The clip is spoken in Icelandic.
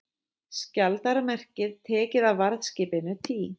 Skjaldarmerkið tekið af varðskipinu Tý